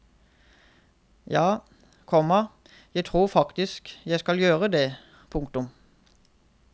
Ja, komma jeg tror faktisk jeg skal gjøre det. punktum